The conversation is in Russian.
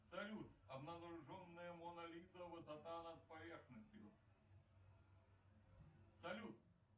салют обнаруженная мона лиза высота над поверхностью салют